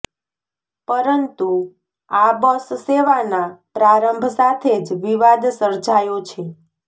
પરંતુ આ બસ સેવાના પ્રારંભ સાથે જ વિવાદ સર્જાયો છે